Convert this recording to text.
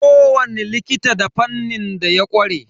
Ko wani likita da fannin da ya ƙware.